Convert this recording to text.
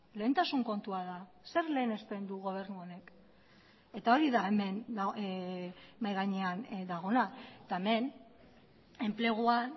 lehentasun kontua da zer lehenesten du gobernu honek eta hori da hemen mahai gainean dagoena eta hemen enpleguan